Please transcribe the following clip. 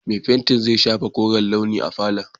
Mai fenti zai shafa koren launi a falon.